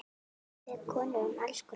Við konur erum alls konar.